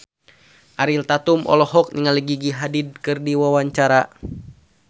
Ariel Tatum olohok ningali Gigi Hadid keur diwawancara